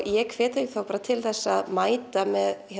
ég hvet þau bara til að mæta með